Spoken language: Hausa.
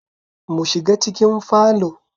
Mu shiga cikin falo